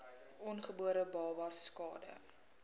ongebore babas skade